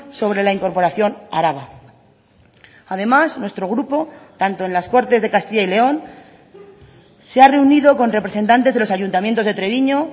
sobre la incorporación a araba además nuestro grupo tanto en las cortes de castilla y león se ha reunido con representantes de los ayuntamientos de treviño